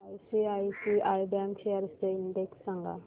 ICICI bank shares चा index सांगा